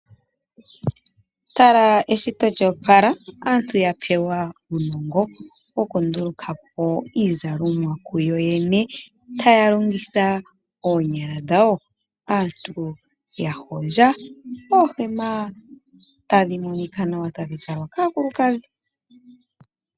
Tala esiti lya opala aantu yapewa uunongo wokundulukapo iizalomwa kuyoyene taya longitha oonyala dhawo. Aantu yahondja oohema tadhi monika nawa tadhi zalwa kaakulukadhi.